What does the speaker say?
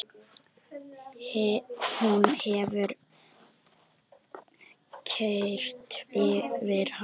Hún hefur keyrt yfir hann!